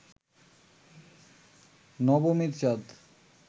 নবমীর চাঁদ